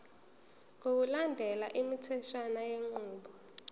ngokulandela imitheshwana yenqubo